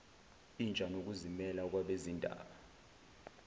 intsha nokuzimela kwabezindaba